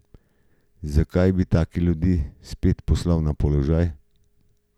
Zakaj bi take ljudi spet poslal na položaj?